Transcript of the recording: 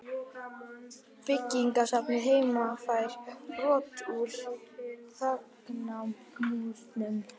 Byggðasafnið heima fær brot úr þagnarmúrnum